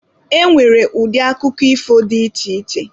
E nwere ụdị akụkọ ifo dị iche iche.